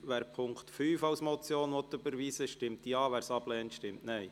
Wer den Punkt 5 als Motion überweisen will, stimmt Ja, wer es ablehnt, stimmt Nein.